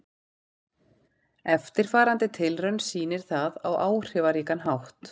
Eftirfarandi tilraun sýnir það á áhrifaríkan hátt.